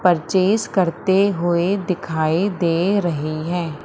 Purchase करते हुए दिखाई दे रहीं हैं।